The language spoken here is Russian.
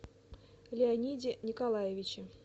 леониде николаевиче